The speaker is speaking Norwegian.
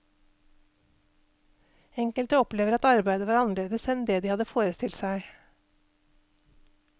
Enkelte opplever at arbeidet var annerledes enn det de hadde forestilt seg.